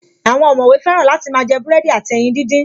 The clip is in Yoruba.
Àwọn ọ̀mọ̀wé fẹ́ràn láti máa jẹ búrẹ́dì àti ẹyin díndín